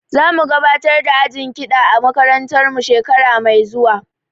Za mu gabatar da ajin kiɗa a makarantar mu shekara mai zuwa